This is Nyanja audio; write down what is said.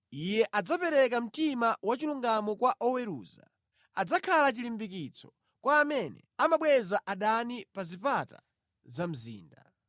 Iye adzapereka mtima wachilungamo kwa oweruza, adzakhala chilimbikitso kwa amene amabweza adani pa zipata za mzinda.